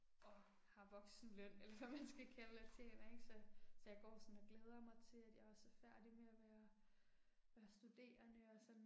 Og har voksenløn eller hvad man skal kalde og tjener ikke, så så jeg går sådan og glæder mig til at jeg også er færdig med og være være studerende og sådan